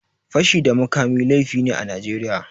Fashi da makami laifi ne a Najeriya.